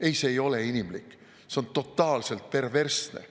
Ei, see ei ole inimlik, see on totaalselt perversne.